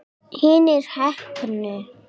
Hinir heppnu?